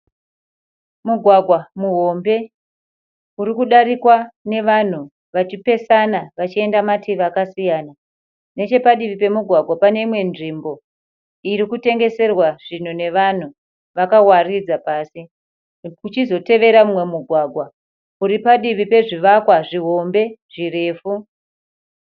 Mugwagwa muhombe urikudarikwa nevanhu vachipesana vachienda mativi akasiyana, nechepadivi pemugwagwa paneimwe nzvimbo irikutengeserwa zvinhu nevanhu vakawaridza pasi pozotevera umwe mugwagwa uripadivi pezvivakwa zvirefu.